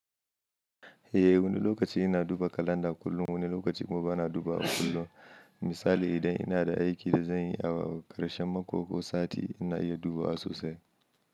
Eh wani lokaci ina duba kalanda kullum, wani lokaci kuma bana dubawa kullum. Misali idan ina da aiki da zan yi a ƙarshen mako ko sati ina iya duba sosai.